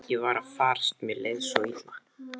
Ég var að farast, mér leið svo illa.